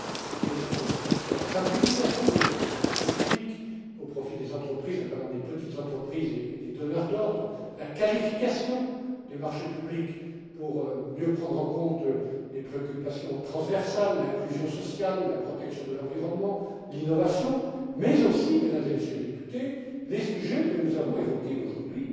mais, bien sûr aussi, de la simplification des marchés publics au profit des entreprises, notamment des petites entreprises et des donneurs d'ordre, la qualification des marchés publics, pour mieux prendre en compte les préoccupations transversales, l'inclusion sociale, la protection de l'environnement, l'innovation mais, également, Mesdames et Messieurs les députés, les sujets que nous avons évoqués, aujourd'hui